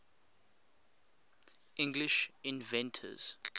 english inventors